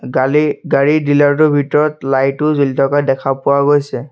কালি গাড়ী ডিলাৰ টোৰ ভিতৰত লাইট ও জ্বলি থকা দেখা পোৱা গৈছে।